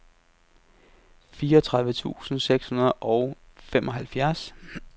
fireogtredive tusind seks hundrede og femoghalvfems